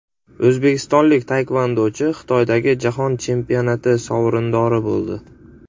O‘zbekistonlik taekvondochi Xitoydagi jahon chempionati sovrindori bo‘ldi.